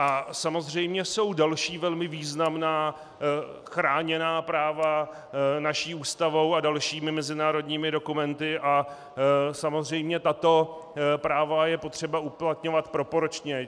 A samozřejmě jsou další velmi významná chráněná práva naší Ústavou a dalšími mezinárodními dokumenty a samozřejmě tato práva je třeba uplatňovat proporčně.